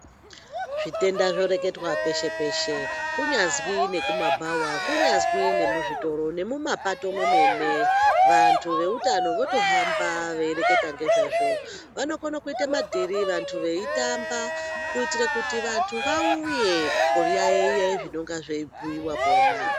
Zvitenda zvoreketwa peshe peshe kunyazwi nekumabhawa kunyazwi nemuzvitoro nemumapato memwene vantu veutano votohamba veireketa ngezvazvo. Vanokone kuite madhirira vantu veitamba kuitire kuti vantu vauye kuyaiya zvinonga zveibhuiwa pona.